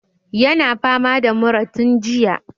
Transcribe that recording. Yana fama da mura tun jiya.